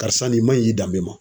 Karisa nin man ɲi i danbe ma.